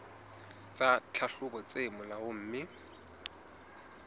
tsa tlhahlobo tse molaong mme